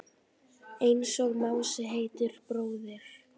Einsog Mási heitinn bróðir.